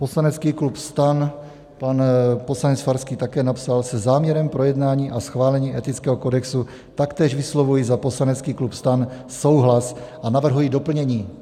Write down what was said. Poslanecký klub STAN, pan poslanec Farský také napsal: Se záměrem projednání a schválení etického kodexu taktéž vyslovuji za poslanecký klub STAN souhlas a navrhuji doplnění.